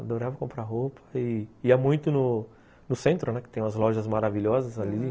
Adorava comprar roupa e ia muito no no centro, né, que tem umas lojas maravilhosas ali, aham.